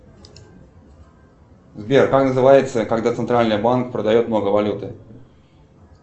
сбер как называется когда центральный банк продает много валюты